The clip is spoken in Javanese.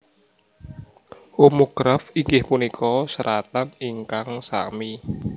Homograf inggih punika seratan ingkang sami